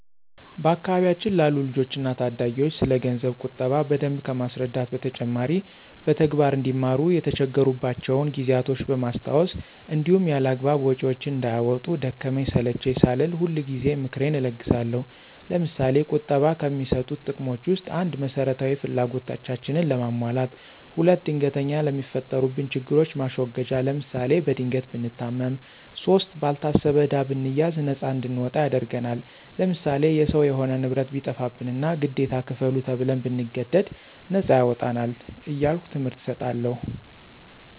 በአካባቢያችን ላሉ ልጆች እና ታዳጊዎች ስለገንዘብ ቁጠባ በደንብ ከማስረዳት በተጨማሪ በተግባር አንዲማሩ የተቸገሩባቸውን ጊዜያቶች በማስታወስ እንዲሁም ያላግባብ ወጭዎችን እንዳያወጡ ደከመኝ ሰለቼኝ ሳልል ሁልጊዜ ምክሬን እለግሳለሁ። ለምሳሌ፦ ቁጠባ ከሚሰጡት ጥቅሞች ውስጥ፦ ፩) መሰረታዊ ፍላጎታችንን ለማሟላት። ፪) ድንገተኛ ለሚፈጠሩብን ችግሮች ማስወገጃ ለምሳሌ፦ በድንገት ብንታመም ፫) ባልታሰበ ዕዳ ብንያዝ ነፃ እንድንወጣ ያደርግናል። ለምሳሌ፦ የሰው የሆነ ንብረት ቢጠፋብንና ግዴታ ክፈሉ ተብን ብንገደድ ነፃ ያወጣናል። እያልሁ ትምህርት እሰጣለሁ።